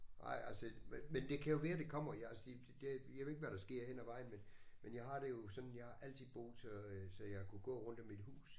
Ej altså men det kan jo være det kommer jeg altså det jeg ved ikke hvad der sker hen ad vejen men men jeg har det jo sådan jeg har altid boet så øh så jeg kunne gå rundt om mit hus